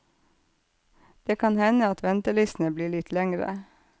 Det kan hende at ventelistene blir litt lengre.